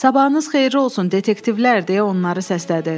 Sabahınız xeyirli olsun, detektivlər deyə onları səslədi.